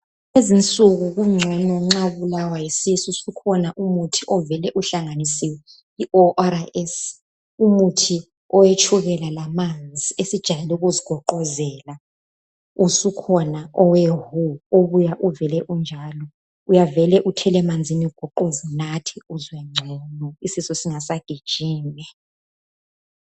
Lezinsuku kungcono nxa ubulawa yisisu sukhona umuthi ovele uhlanganisiwe, i-O.R.S, umuthi owetshukela lamanzi esijayele ukuzigoqozela. Usukhona owe-WHO obuya uvele unjalo. Uyavele uthele emanzini ugoqoze unathe uzwe ngcono, isisu singasagijimi.